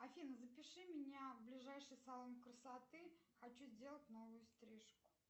афина запиши меня в ближайший салон красоты хочу сделать новую стрижку